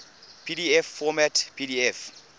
pdf format pdf